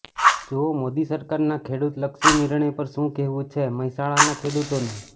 જુઓ મોદી સરકારના ખેડૂતલક્ષી નિર્ણય પર શું કહેવું છે મહેસાણાના ખેડૂતોનું